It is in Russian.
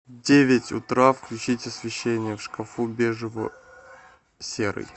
в девять утра включить освещения в шкафу бежево серый